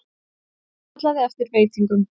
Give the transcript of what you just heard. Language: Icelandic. Kallaði eftir veitingum.